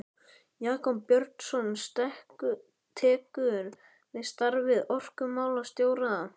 Jakob Björnsson tekur við starfi orkumálastjóra.